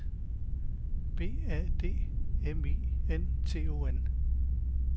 B A D M I N T O N